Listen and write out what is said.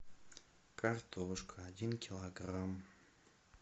картошка один килограмм